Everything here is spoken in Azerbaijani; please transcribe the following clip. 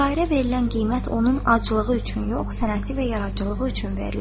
Şairə verilən qiymət onun aclığı üçün yox, sənəti və yaradıcılığı üçün verilir.